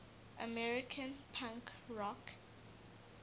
american punk rock